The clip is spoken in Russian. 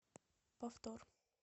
повтор